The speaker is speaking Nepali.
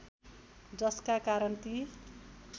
जसका कारण ती